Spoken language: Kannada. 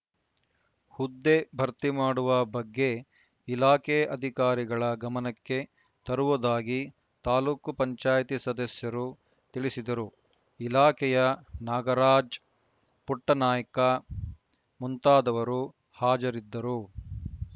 ಹುದ್ದೆ ಭರ್ತಿಮಾಡುವ ಬಗ್ಗೆ ಇಲಾಖೆ ಅಧಿಕಾರಿಗಳ ಗಮನಕ್ಕೆ ತರುವುದಾಗಿ ತಾಲೂಕ್ ಪಂಚಾಯತಿ ಸದಸ್ಯರು ತಿಳಿಸಿದರು ಇಲಾಖೆಯ ನಾಗರಾಜ್‌ ಪುಟ್ಟನಾಯ್ಕ ಮುಂತಾದವರು ಹಾಜರಿದ್ದರು